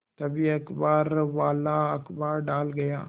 तभी अखबारवाला अखबार डाल गया